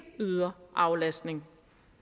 yder aflastning